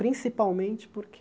Principalmente porque